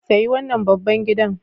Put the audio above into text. Sayi wannan babban gidan.